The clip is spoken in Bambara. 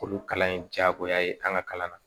Olu kalan ye jaagoya ye an ka kalan na